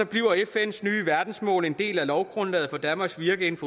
bliver fns nye verdensmål en del af lovgrundlaget for danmarks virke inden